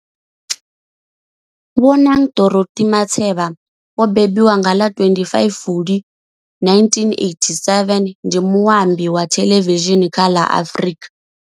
Bonang Dorothy Matheba o mbembiwa nga ḽa 25 Fulwi 1987, ndi muambi wa thelevishini kha ḽa Afrika.